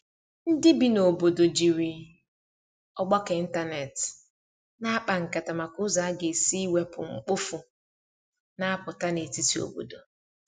ndi ibi na obodo jiri ọgbako ịntanetị na akpa nkata maka ụzọ aga esi iwepụ mkpofu na aputa n'etiti obodo